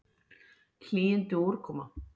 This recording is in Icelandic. Hlýindi og úrkoma